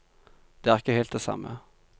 Det er ikke helt det samme.